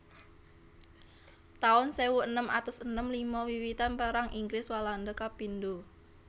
taun sewu enem atus enem lima Wiwitan Perang Inggris Walanda kapindho